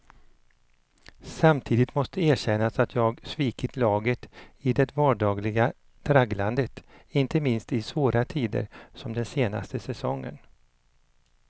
Samtidigt måste erkännas att jag svikit laget i det vardagliga tragglandet, inte minst i svåra tider som den senaste säsongen.